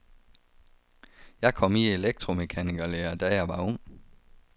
Jeg kom i elektromekanikerlære, da jeg var ung.